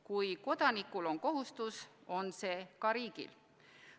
Kui kodanikul on kohustus, on see ka riigil.